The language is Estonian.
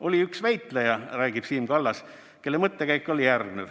Oli üks väitleja, räägib Siim Kallas, kelle mõttekäik oli järgnev.